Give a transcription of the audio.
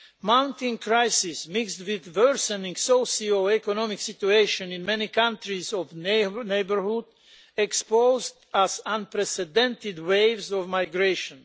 Mounting crises mixed with worsening socio economic situations in many countries in our neighbourhood exposed us to unprecedented waves of migration.